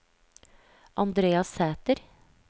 Andrea Sæter